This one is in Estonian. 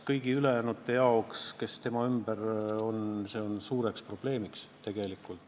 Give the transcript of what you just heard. Kõigi ülejäänute jaoks, kes tema ümber on, on see tegelikult suur probleem.